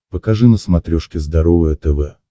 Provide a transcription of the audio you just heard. покажи на смотрешке здоровое тв